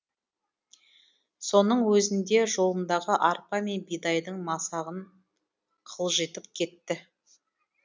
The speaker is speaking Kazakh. соның өзінде жолындағы арпа мен бидайдың масағын қылжитып кетті